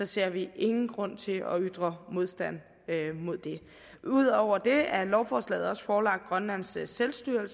ser vi ingen grund til at ytre modstand mod det ud over det er lovforslaget forelagt grønlands selvstyre